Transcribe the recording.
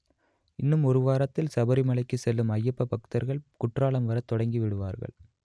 இன்னும் ஒரு வாரத்தில் சபரிமலைக்கு செல்லும் அய்யப்ப பக்தர்கள் குற்றாலம் வரத் தொடங்கி விடுவார்கள்